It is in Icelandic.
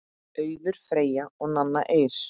Auður Freyja og Nanna Eir.